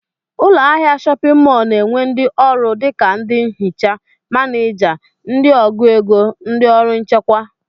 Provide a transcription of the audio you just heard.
Ụlọahịa shọpịn mọl na-enwe ndị ọrụ dịka ndị nhicha, manịja, ndị ọgụ ego, ndị ọrụ nchekwa